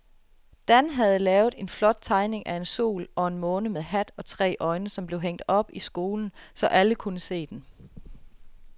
Dan havde lavet en flot tegning af en sol og en måne med hat og tre øjne, som blev hængt op i skolen, så alle kunne se den.